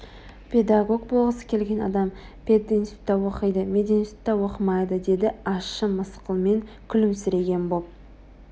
педагог болғысы келген адам пединститутта оқиды мединститутта оқымайды деді ащы мысқылмен күлімсіреген боп